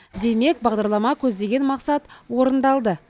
демек бағдарлама көздеген мақсат орындалды